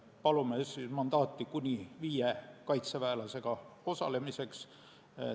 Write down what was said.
Palume mandaati kuni viie kaitseväelasega osalemiseks.